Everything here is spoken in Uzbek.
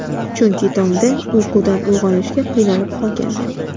Chunki tongda uyqudan uyg‘onishga qiynalib qolgandim.